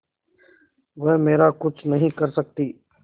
वह मेरा कुछ नहीं कर सकती